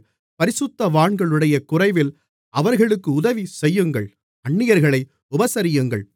பரிசுத்தவான்களுடைய குறைவில் அவர்களுக்கு உதவிசெய்யுங்கள் அந்நியர்களை உபசரியுங்கள்